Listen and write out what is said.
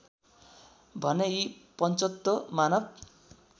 भने यी पञ्चतत्त्व मानव